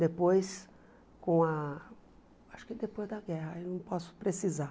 Depois, com a... Acho que depois da guerra, eu não posso precisar.